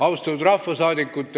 Austatud rahvasaadikud!